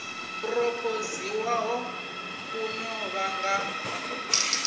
phurophoziwaho ku ḓo vha nga